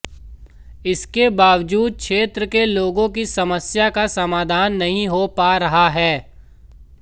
इसके बावजूद क्षेत्र के लोगों की समस्या का समाधान नहीं हो पा रहा है